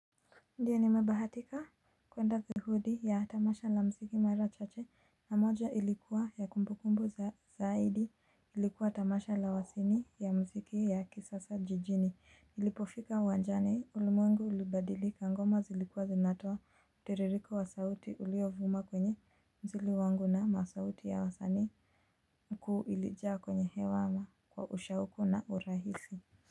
Ndio nimebahatika kuenda kikundi ya tamasha la mziki mara chache na moja ilikuwa ya kumbu kumbu zaidi ilikuwa tamasha la wasini ya mziki ya kisasa jijini. Nilipofika uwanjani ulimwengu ulibadilika, ngoma zilikuwa zinatoa mtiririko wa sauti uliovuma kwenye mzili wangu na masauti ya wasanii mkuu ilijaa kwenye hewa na kwa ushauku na urahisi Muzika.